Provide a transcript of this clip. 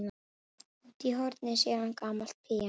Úti í horni sér hann gamalt píanó.